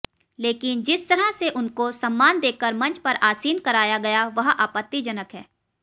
लेकिन जिस तरह से उनको सम्मान देकर मंच पर आसीन कराया गया वह आपत्तिजनक है